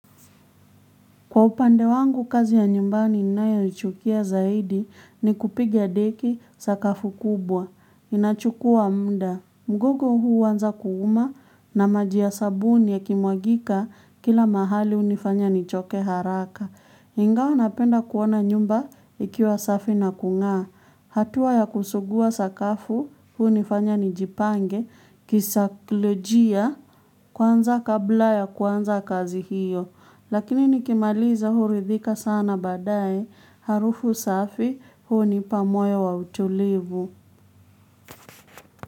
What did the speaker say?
Kwa upande wangu kazi ya nyumbani ninayoichukia zaidi ni kupigia deki sakafu kubwa. Inachukua muda. Mgongo uanza kuuma na maji ya sabuni yakimwagika kila mahali unifanya nichoke haraka. Ingawa napenda kuona nyumba ikiwa safi na kung'aa hatua ya kusugua sakafu unifanya nijipange kisaikolojia kwanza kabla ya kuanza kazi hiyo. Lakini nikimaliza huridhika sana baadaye, arufu safi unipa moyo wa utulivu.